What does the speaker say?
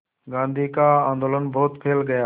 गांधी का आंदोलन बहुत फैल गया